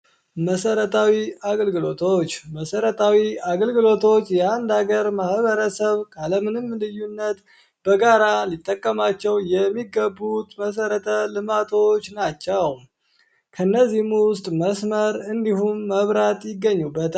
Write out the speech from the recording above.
መሰረታዊ አገልግሎቶች መሰረታዊ አገልግሎቶች የአንድ ሀገር ማህበረሰብ ካለምንም ልዩነት በጋራ ሊጠቀማቸው የሚገቡ መሰረተ ልማቶች ናቸው። ከእነዚህም ውስጥ መስመር መብራት ይገኙበታል።